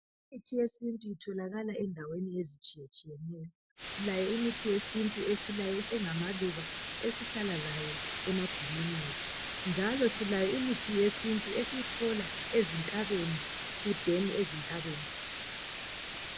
Imithi yesintu itholakala endaweni ezitshiye tshiyeneyo silayo imithi yesintu engamaluba esihlala layo emagumeni ethu njalo ikhona imithi yesintu esiyithola ezintabeni.